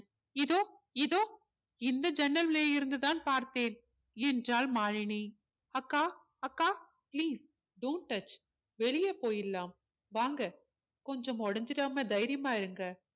இதோ இதோ இந்த ஜன்னல் வழியா இருந்து தான் பார்த்தேன் என்றாள் மாலினி அக்கா அக்கா please do'nt touch வெளியே போயிடலாம் வாங்க கொஞ்சம் உடைஞ்சுடாம தைரியமா இருங்க